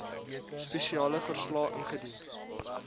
spesiale verslae ingedien